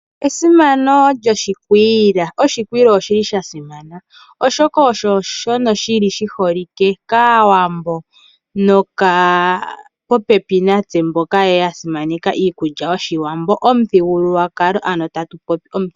Esimano lyoshikwiila, oshikwiila oshi li sha simana oshoka osho shono shi li shi holike kAawambo nokaa popepi natse mboka ya simaneka iikulya yOshiwambo omuthigululwakalo. Ano tatu popi omuthigululwakalo.